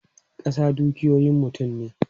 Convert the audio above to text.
Kasa dukiyoyin mutum ne.